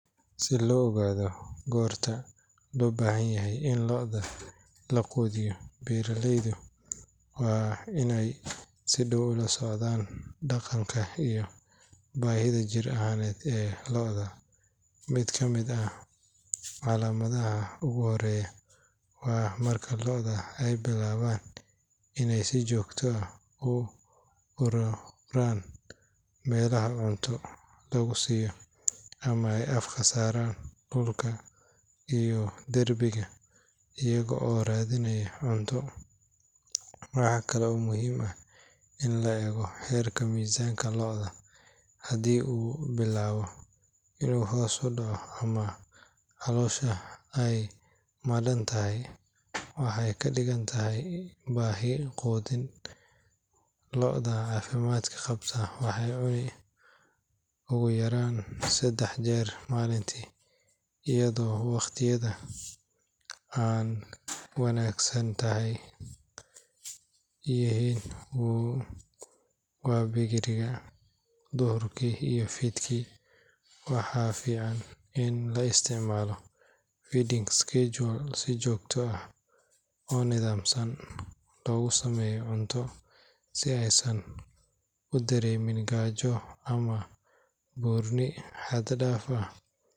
Si loo ogaado goorta loo baahan yahay in lo’da la quudiyo, beeraleydu waa inay si dhow ula socdaan dhaqanka iyo baahida jir ahaaneed ee lo’da. Mid ka mid ah calaamadaha ugu horreeya waa marka lo’da ay bilaabaan inay si joogto ah u ururaan meelaha cunto lagu siiyo ama ay afka saaraan dhulka iyo derbiyada iyaga oo raadinaya cunto. Waxa kale oo muhiim ah in la eego heerka miisaanka lo’da; haddii uu bilaabo inuu hoos u dhaco ama caloosha ay madhan tahay, waxay ka dhigan tahay baahi quudin. Lo’da caafimaad qabta waxay cunaan ugu yaraan saddex jeer maalintii, iyadoo wakhtiyada ay wanaagsan tahay ay yihiin waaberiga, duhurkii iyo fiidkii. Waxaa fiican in la isticmaalo feeding schedule si joogto ah oo nidaamsan loogu sameeyo cunto si aysan u dareemin gaajo ama buurni xad dhaaf ah.